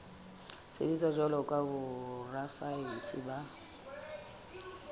sebetsa jwalo ka borasaense ba